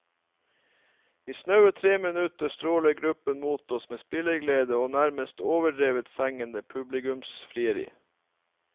I snaue tre minutter stråler gruppen mot oss med spilleglede og nærmest overdrevent fengende publikumsfrieri.